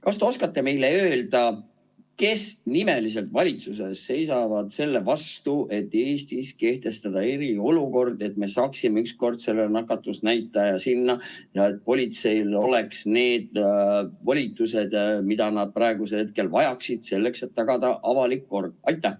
Kas te oskate meile öelda, kes nimeliselt valitsuses seisavad selle vastu, et Eestis kehtestada eriolukord, et me saaksime üks kord selle nakatumisnäitaja alla ja et politseil oleks need volitused, mida nad praegusel hetkel vajaksid selleks, et tagada avalik kord?